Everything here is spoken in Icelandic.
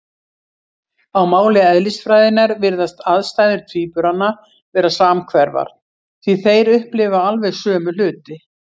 Á máli eðlisfræðinnar virðast aðstæður tvíburanna vera samhverfar, því þeir upplifa alveg sömu hluti.